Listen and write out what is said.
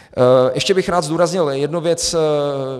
Ještě bych rád zdůraznil jednu věc.